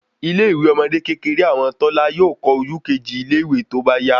Ilé ìwé ọmọde kékeré àwọn tọ́lá yóò kọ ojú keji ile iwe tóbá yà